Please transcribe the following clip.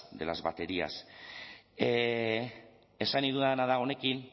de las baterías esan nahi dudana da honekin